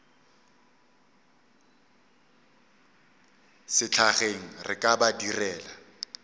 sehlageng re ka ba direla